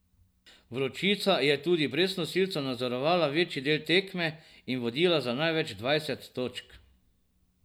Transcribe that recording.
Vročica je tudi brez nosilcev nadzorovala večji del tekme in vodila za največ dvajset točk.